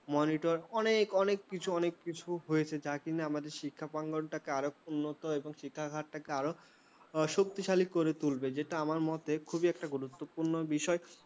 monitor অনেক অনেক কিছু হয়েছে যা কেন আমাদের শিক্ষা প্রাঙ্গণটাকে উন্নত এবং শিক্ষা হারকে শক্তিশালী করে তুলবে যেটা আমার মতে খুবই একটা গুরুত্বপূর্ণ বিষয় ।